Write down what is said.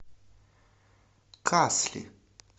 касли